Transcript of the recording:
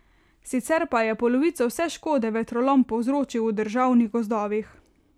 Sicer pa je polovico vse škode vetrolom povzročil v državnih gozdovih.